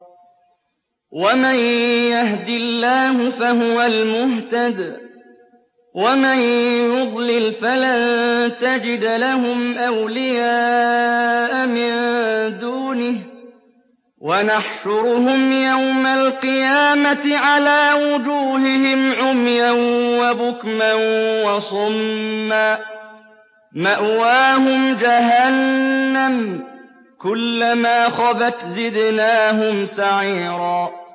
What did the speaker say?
وَمَن يَهْدِ اللَّهُ فَهُوَ الْمُهْتَدِ ۖ وَمَن يُضْلِلْ فَلَن تَجِدَ لَهُمْ أَوْلِيَاءَ مِن دُونِهِ ۖ وَنَحْشُرُهُمْ يَوْمَ الْقِيَامَةِ عَلَىٰ وُجُوهِهِمْ عُمْيًا وَبُكْمًا وَصُمًّا ۖ مَّأْوَاهُمْ جَهَنَّمُ ۖ كُلَّمَا خَبَتْ زِدْنَاهُمْ سَعِيرًا